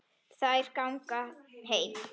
Þær ætla að ganga heim.